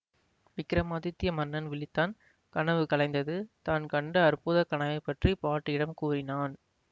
விக்ரமாதித்ய மன்னன் விழித்தான் கனவு கலைந்தது தான் கண்ட அற்புத கனவைப் பற்றி பாட்டியிடம் கூறினான்